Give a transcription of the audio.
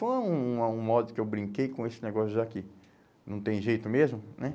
Foi um uma um modo que eu brinquei com esse negócio já que não tem jeito mesmo, né?